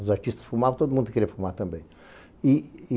Os artistas fumavam, todo mundo queria fumar também.